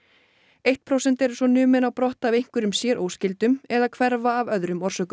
eitt prósent eru numin á brott af einhverjum sér óskyldum eða hverfa af öðrum orsökum